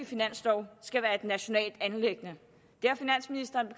finanslov skal være et nationalt anliggende det har finansministeren